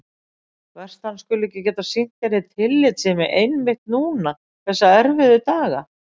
Verst að hann skuli ekki geta sýnt henni tillitssemi einmitt núna þessa erfiðu daga.